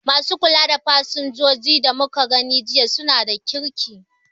Ma su kula da fasinjoji da muka gani jiya su na da kirki